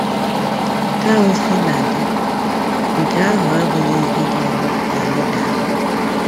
Ka o si na dị, nke ahụ abụghị ihe ga-eme ka anyị daa mbà